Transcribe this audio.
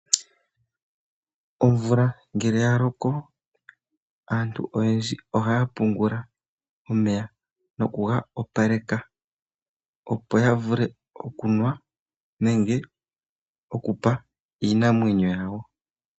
Omvula ngele ya loko, aantu oyendji ohaya pungula omeya noku ga opaleka, opo ya vule okunwa nenge oku pa iinamwenyo yawo.